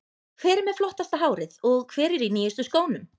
Hver er með flottasta hárið og hver er í nýjustu skónum?